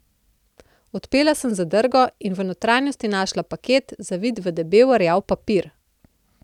Odpela sem zadrgo in v notranjosti našla paket, zavit v debel rjav papir.